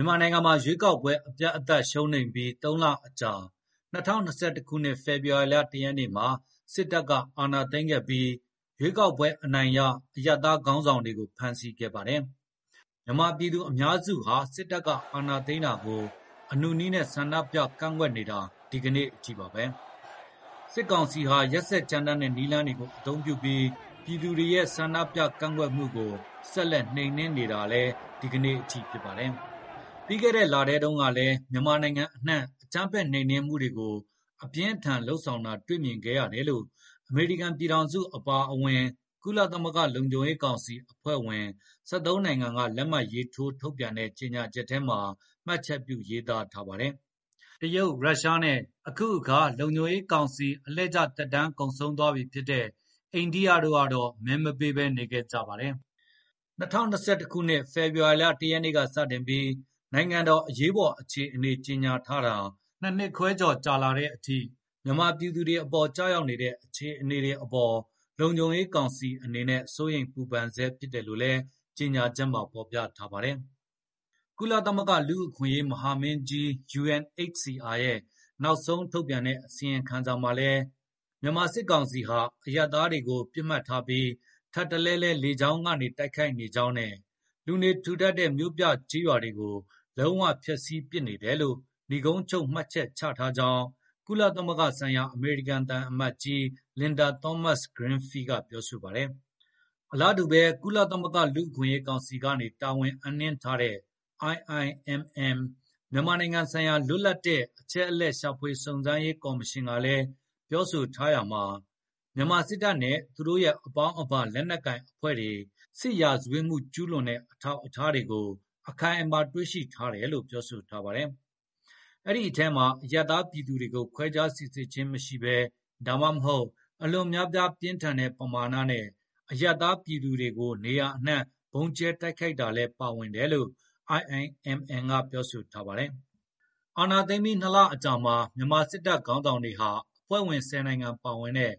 ြန်မာနိုင်ငံမှာ ရွေးကောက်ပွဲအပြတ်အသတ်ရှုံးနိမ့်ပြီး ၃ လအကြာ ၂၀၂၁ ခုနှစ် ဖေဖေါ်ဝါရီလ ၁ ရက်နေ့မှာ စစ်တပ်ကအ ာဏာသိမ်းခဲ့ပြီး ရွေးကောက်ပွဲအနိုင်ရ အရပ်သားခေါင်းဆောင်တွေကို ဖမ်းဆီးခဲ့ပါတယ်။ မြန်မာပြည်သူအများစုဟာ စစ် တပ်အာဏာသိမ်းတာကို အနုနည်းဆန္ဒပြကန့်ကွက်နေတာဒီကနေ့အထိပါပဲ။ စစ်ကောင်စီဟာ ရက်စက်ကြမ်းတမ်းနဲ့နည်းလမ်းတွေကိုအသုံးပြုပြီး ပြည်သူတွေရဲ့ဆန္ဒပြကန့်ကွက်မှုကို ဆက်လက်နှိမ်နင်းနေတာလည်းဒီကနေ့အထိဖြစ်ပါတယ်။ ပြီးခဲ့တဲ့လထဲတုန်းကလည်း မြန်မာပြည်အနှံ့ အကြမ်းဖက်နှိမ်နင်းမှုတွေကို အပြင်းအထန်လုပ်ဆောင်တာတွေ့မြင်ခဲ့ ရတယ်လို့ အမေရိကန်ပြည်ထောင်စုအပါအဝင် ကုလသမဂ္ဂလုံခြုံရေးကောင်စီအဖွဲ့ဝင် ၁၃ နိုင်ငံက လက်မှတ်ရေးထိုး ထုတ်ပြန်တဲ့ကြေညာချက်ထဲမှာ မှတ်ချက်ပြုရေးသားထားပါတယ်။ တရုတ်၊ ရုရှားနဲ့ အခုအခါ လုံခြုံရေးကောင်စီအလှည့်ကျ သက်တမ်းကုန်ဆုံးနေပြီဖြစ်တဲ့ အိန္ဒိယတို့ကတော့ မဲမပေးဘဲနေခဲ့ကြပါ တယ်။ ၂၀၂၁ ခုနှစ် ဖေဖေါ်ဝါရီလ ၁ ရက်နေ့ကနေစပြီး နိုင်ငံတော်အရေးပေါ်အခြေအနေကြေညာထားတာ ၂ နှစ်ခွဲကျော် ကြာလာတဲ့အထိ လုံခြုံရေးကောင်စီအနေနဲ့ မြန်မာပြည်သူတွေအပေါ်ကျရောက်နေတဲ့ အခြေအနေတွေအပေါ် စိုးရိမ်ပူပန် ဆဲဖြစ်တယ်လို့လည်း ကြေညာချက်မှာဖေါ်ပြထားပါတယ်။ ကုလသမဂ္ဂလူ့အခွင့်အရေးမဟာမင်းကြီး UNHCR ရဲ့နောက်ဆုံးထုတ်ပြန်တဲ့အစီရင်ခံစာမှာလည်း မြန်မာစစ်ကောင်စီဟာ အရပ်သားတွေကိုပစ်မှတ်ထားပြီး ထပ်တလဲလဲ လေကြောင်းကနေတိုက်ခိုက်နေကြောင်းနဲ့ လူနေထူထပ်တဲ့မြို့ပြကျေးရွာတွေကိုလုံးဝဖျက်ဆီးပစ်နေတယ်လို့ နိဂုံးချုပ်မှတ်ချက်ချထားကြောင်း ကုလသမဂ္ဂဆိုင်ရာ အမေရိကန်သံအမတ်ကြီး လင်ဒါသောမတ်စ် ဂရင်းဖီးလ် (Linda Thomas-Greenfield) ကပြောပါတယ်။ အလားတူပဲ ကုလသမဂ္ဂလူ့အခွင့်အရေးကောင်စီကနေ တာဝန်အပ်နှင်းထားတဲ့ IIMM မြန်မာနိုင်ငံဆိုင်ရာလွတ်လပ်တဲ့ အချက်အလက်ရှာဖွေစုံစမ်းရေးကော်မရှင်ကလည်း - မြန်မာစစ်တပ်နဲ့သူရဲ့အပေါင်းအပါ လက်နှက်ကိုင်အဖွဲ့တွေ စစ်ရာဇဝတ်မှုကျူးလွန်တဲ့အထောက်အထားတွေ အခိုင်အမာတွေ့ရှိထားတယ်လို့ပြောထားပါတယ်။ အဲဒိအထဲမှာ အရပ်သားပြည်သူတွေကို ခွဲခြားစိစစ်ခြင်းမရှိဘဲ ဒါမှမဟုတ် အလွန်များပြားပြင်းထန်တဲ့ပမာဏနဲ့ အရပ်သားပြည်သူတွေကို နေရာအနှံ့ ဗုံးကြဲတိုက်ခိုက်တာလည်းပါဝင်တယ်လို့ IIMM ကပြောထားပါတယ်။ အာဏာသိမ်းပြီး ၂ လအကြာမှာ မြန်မာစစ်တပ်ခေါင်းဆောင်တွေဟာ အဖွဲ့ဝင် ၁၀ နိုင်ငံပါဝင်တဲ့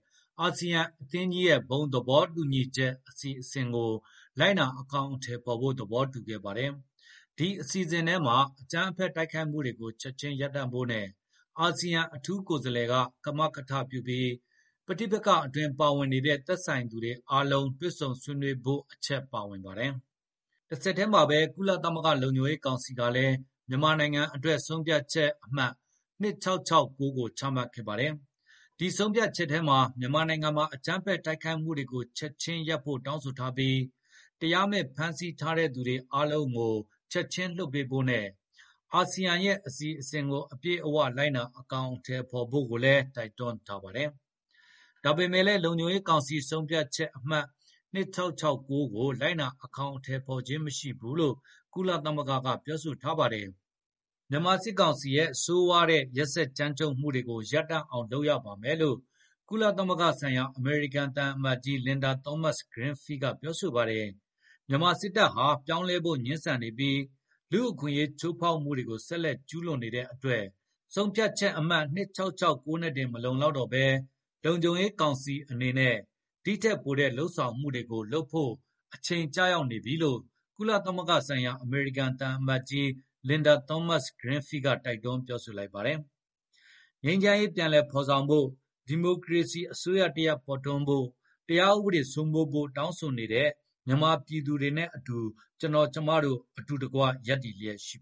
ASEAN အသင်းကြီးရဲ့ ဘုံသဘောတူညီချက်အစီအစဉ်ကို လိုက်နာအကောင်အထည်ဖေါ်ဖို့ သဘောတူခဲ့ပါတယ်။ ဒီအစီစဉ်ထဲမှာ 'အကြမ်းဖက်တို က်ခိုက်မှုတွေချက်ခြင်းရပ်ဖို့နဲ့ အာဆီယံအထူးကိုယ်စားလှယ်က-ကမကထပြုပြီး ပဋိပက္ခအတွင်းပါဝင်နေတဲ့ သက်ဆိုင်သူအားလုံး တွေ့ဆုံဆွေးနွေးဖို့' ဆိုတဲ့အချက်ပါဝင်ပါတယ်။ တဆက်တည်းမှာပဲ ကုလသမဂ္ဂလုံခြုံရေးကောင်စီကလည်း မြန်မာနိုင်ငံအတွက် ဆုံးဖြတ်ချက်အမှတ် ၂၆၆၉ ကိုချမှတ်ခဲ့ပါတယ်။ ဒီဆုံးဖြတ်ချက်ထဲမှာ မြန်မာနိုင်ငံမှာ အကြမ်းဖက်တိုက်ခိုက်မှုတွေကို ချက်ခြင်းရပ်ဖို့တောင်းဆိုထားပြီး တရားမဲ့ဖမ်းဆီးထားတဲ့သူတွေအားလုံးကို ချက်ခြင်းလွှတ်ပေးဖို့နဲ့ အာဆီယံရဲ့ အစီစဉ်ကိုအပြည့်အဝ လိုက်နာအကောင်အထည်ဖေါ်ဖို့ကိုလည်း တိုက်တွန်းထားပါတယ်။ ဒါပေမယ့်လည်း လုံခြုံရေးကောင်စီဆုံးဖြတ်ချက် ၂၆၆၉ ကိုလိုက်နာအကောင်အထည်ဖေါ်ခြင်းမရှိဘူးလို့ ကုလသမဂ္ဂကပြောထားပါတယ်။ မြန်မာစစ်ကောင်စီရဲ့ ဆိုးရွားတဲ့ရက်စက်ကြမ်းကြုတ်မှုတွေကို ရပ်တန့်အောင်လုပ်ရပါမယ်လို့ ကုလသမဂ္ဂဆိုင်ရာ အမေရိကန်သံအမတ်ကြီး လင်ဒါသောမတ်စ်ဂရင်းဖီးလ်က ပြောပါတယ်။ မြန်မာစစ်တပ်ဟာ ပြောင်းလဲဖို့ငြင်းဆန်နေပြီး လူ့အခွင့်အရေးချိုးဖေါက်မှုတွေကို ဆက်လက်ကျူးလွန်နေတဲ့အတွက် ဆုံးဖြတ်ချက်အမှတ် ၂၆၆၉ နဲ့တင်မလုံလောက်တော့ဘဲ လုံခြုံရေးကောင်စီအနေနဲ့ ဒိထက်ပိုတဲ့လုပ်ဆောင်မှုတွေကိုလုပ်ဖို့ အချိန်ကျနေပြီလို့ ကုလသမဂ္ဂဆိုင်ရာအမေရိကန်သံအမတ်ကြီး Linda Thomas-Greenfield ကတိုက်တွန်းလိုက်ပါတယ်။ ငြိမ်းချမ်းရေးပြန်လည်ဖေါ်ဆောင်ဖို့၊ ဒီမိုကရေစီအစိုးရတရပ်ပေါ်ထွန်းဖို့၊ တရားဥပဒေစိုးမိုးဖို့ တောင်းဆိုနေတဲ့ မြန်မာပြည်သူတွေနဲ့အတူ ကျနော်ကျမတို့အတူတကွရပ်တည်လျက်ရှိပ